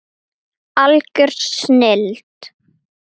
Er ég ánægður með tapið?